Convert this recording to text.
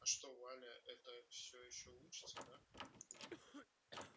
а что валя эта всё ещё учится да